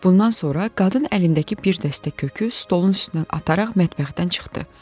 Bundan sonra qadın əlindəki bir dəstə kökü stolun üstündən ataraq mətbəxdən çıxdı.